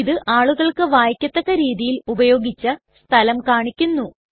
ഇത് ആളുകൾക്ക് വായിക്കത്തക്ക രീതിയിൽ ഉപയോഗിച്ച സ്ഥലം കാണിക്കുന്നു